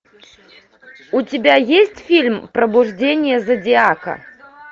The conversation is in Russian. у тебя есть фильм пробуждение зодиака